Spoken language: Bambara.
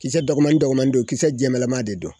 Kisɛ dɔgɔmani dɔgɔmani don kisɛ jɛmanla ma de don